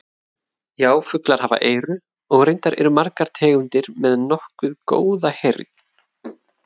Já, fuglar hafa eyru og reyndar eru margar tegundir með nokkuð góða heyrn.